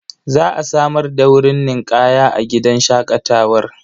Za a samar da wurin ninƙaya a gidan shaƙatawar.